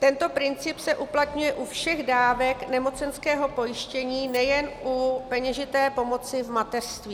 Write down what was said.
Tento princip se uplatňuje u všech dávek nemocenského pojištění, nejen u peněžité pomoci v mateřství.